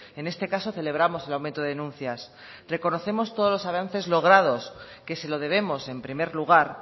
en este caso celebramos el aumento de denuncias reconocemos todos los avances logrados que se lo debemos en primer lugar